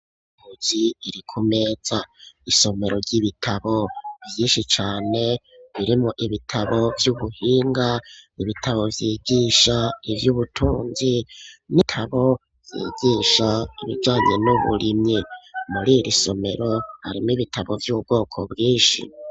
inzu ziri ku meza isomero ry'ibitabo vyishi cane birimo ibitabo vyubuhinga ibitabo vyigisha ivy'ubutunzi n'ibitabo vyigisha ibijanye n'uburimyi muriri somero harimwo ibitabo by'ubwoko bwinshi